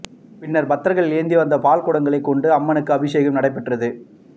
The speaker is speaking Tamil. பின்னர் பக்தர்கள் ஏந்தி வந்த பால்குடங்களை கொண்டு அம்மனுக்கு அபிஷேகம் நடைபெற்றது